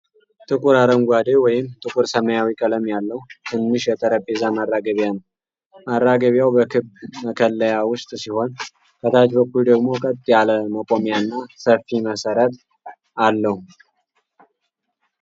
ጥቁር አረንጓዴ ወይም ጥቁር ሰማያዊ ቀለም ያለው ትንሽ የጠረጴዛ ማራገቢያ ነው። ማራገቢያው በክብ መከለያ ውስጥ ሲሆን፣ ከታች በኩል ደግሞ ቀጥ ያለ መቆሚያና ሰፊ መሰረት አለው።